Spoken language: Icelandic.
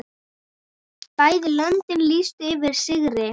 Bæði löndin lýstu yfir sigri.